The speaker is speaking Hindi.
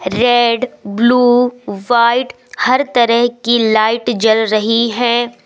रेड ब्लू व्हाईट हर तरह की लाइट जल रही है।